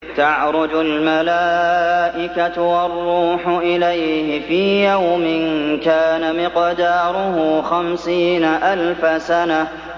تَعْرُجُ الْمَلَائِكَةُ وَالرُّوحُ إِلَيْهِ فِي يَوْمٍ كَانَ مِقْدَارُهُ خَمْسِينَ أَلْفَ سَنَةٍ